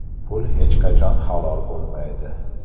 Pul hech qachon halol bo‘lmaydi .